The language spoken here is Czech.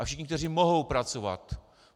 A všichni, kteří mohou pracovat.